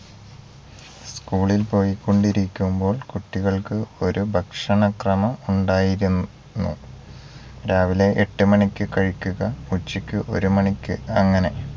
school ൽ പോയിക്കൊണ്ടിരിക്കുമ്പോൾ ഒകുട്ടികൾക്ക്രു ഭക്ഷണക്രമം ഉണ്ടായിരുന്നു രാവിലെ എട്ടുമണിക്ക് കഴിക്കുക ഉച്ചക്ക് ഒരുമണിക്ക് അങ്ങനെ